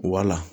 Wala